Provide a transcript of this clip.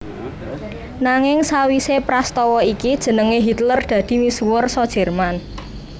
Nanging sawisé prastawa iki jenengé Hitler dadi misuwur sa Jerman